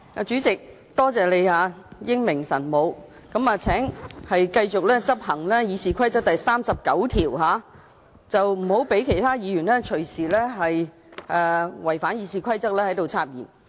主席，多謝你英明神武，請繼續執行《議事規則》第39條，不要讓其他議員任意違反《議事規則》插言。